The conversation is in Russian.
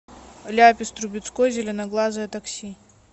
ляпис трубецкой зеленоглазое такси